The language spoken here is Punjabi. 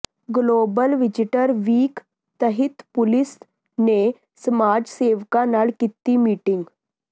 ਗਲੋਬਲ ਵਿਜ਼ੀਟਰ ਵੀਕ ਤਹਿਤ ਪੁਲਸ ਨੇ ਸਮਾਜ ਸੇਵਕਾਂ ਨਾਲ ਕੀਤੀ ਮੀਟਿੰਗ